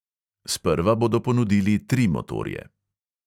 Sprva bodo ponudili tri motorje.